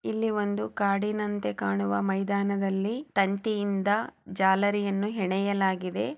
ಇಲ್ಲಿ ಒಂದು ಕಾಡಿನಂತೆ ಕಾಣುವ ಮೈದಾನದಲ್ಲಿ ತಂತಿಯಿಂದ ಜಾಲರಿಯನ್ನು ಹೆಣೆಯಲಾಗಿದೆ.